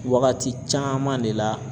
Wagati caman de la